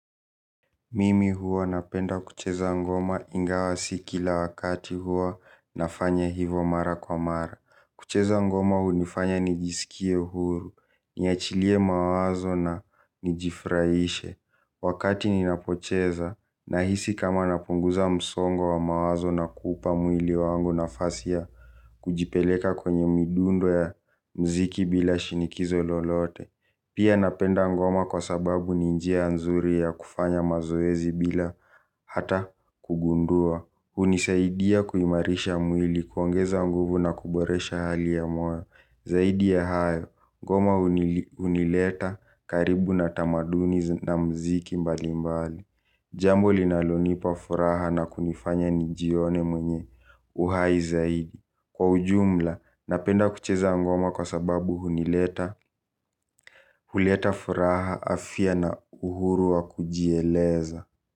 Mimi huwa napenda kucheza ngoma ingawa si kila wakati huwa nafanya hivo mara kwa mara. Kucheza ngoma hunifanya nijisikie huru, niachilie mawazo na nijifraishe. Wakati ninapocheza nahisi kama napunguza msongo wa mawazo na kuupa mwili wangu nafasi ya kujipeleka kwenye midundo ya mziki bila shinikizo lolote. Pia napenda ngoma kwa sababu ni njia nzuri ya kufanya mazoezi bila hata kugundua. Hunisaidia kuimarisha mwili kuongeza nguvu na kuboresha hali ya moyo. Zaidi ya hayo, ngoma unileta karibu na tamaduni na mziki mbali mbali jambo linalonipa furaha na kunifanya nijione mwenye uhai zaidi kwa ujumla napenda kucheza ngoma kwa sababu hunileta huleta furaha afya na uhuru wa kujieleza.